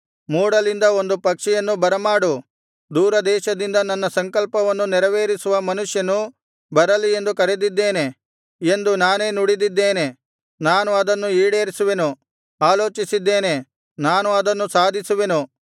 ಮೂಡಲಿಂದ ಒಂದು ಪಕ್ಷಿಯನ್ನು ಬರಮಾಡು ದೂರದೇಶದಿಂದ ನನ್ನ ಸಂಕಲ್ಪವನ್ನು ನೆರವೇರಿಸುವ ಮನುಷ್ಯನು ಬರಲಿ ಎಂದು ಕರೆದಿದ್ದೇನೆ ಎಂದು ನಾನೇ ನುಡಿದಿದ್ದೇನೆ ನಾನು ಅದನ್ನು ಈಡೇರಿಸುವೆನು ಆಲೋಚಿಸಿದ್ದೇನೆ ನಾನು ಅದನ್ನು ಸಾಧಿಸುವೆನು